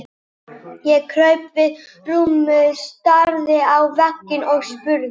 Ég kraup við rúmið, starði á vegginn og spurði